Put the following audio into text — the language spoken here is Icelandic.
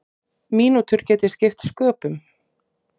Mínútur geti skipt sköpum.